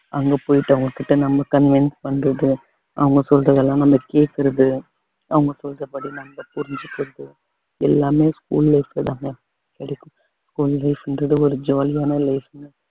அங்க போயிட்டு அவங்க கிட்ட நம்ம convince பண்றது அவங்க சொல்றதெல்லாம் நம்ம கேட்கிறது அவங்க சொல்றபடி நம்ம புரிஞ்சிக்கிறது எல்லாமே school life ல தாங்க ஒரு jolly யான life ங்க